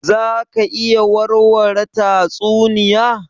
Za ka iya warware tatsuniya?